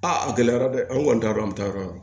Aa a gɛlɛyara dɛ an kɔni t'a yɔrɔ an bɛ taa yɔrɔ yɔrɔ